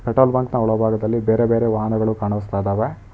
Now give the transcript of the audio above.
Petrol ಬಂಕ್ನ ಒಳಭಾಗದಲ್ಲಿ ಬೇರೆ ಬೇರೆ ವಾಹನಗಳು ಕಾಣಿಸ್ತಾ ಇದವೆ.